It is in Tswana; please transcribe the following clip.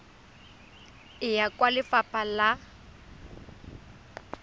e ya kwa lefapha la